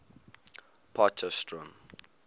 potchefstroom